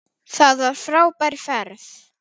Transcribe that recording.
Það var frábær ferð.